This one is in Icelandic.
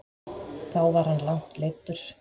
Þá var hann langt leiddur.